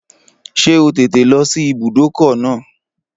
Ṣé o tètè lọ sí ibùdókọ̀ náà?